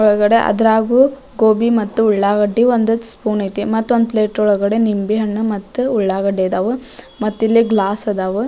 ಒಳಗಡೆ ಅದ್ರ ಒಳಗಡೆ ಅದ್ರಗೂ ಗೋಬಿ ಮತ್ತು ಉಳ್ಳಾಗಡ್ಡೆ ಒಂದ್ ಸ್ಪೂನ್ ಐತಿ ಮತ್ತೊಂದು ಪ್ಲೇಟ್ ಒಳಗಾದೆ ನಿಂಬೆ ಹಣ್ಣು ಮತ್ತು ಉಳ್ಳಾಗಡ್ಡೆ ಇದ್ದವ ಮತ್ತಿಲ್ಲಿ ಗ್ಲಾಸ್ ಅದಾವ್ --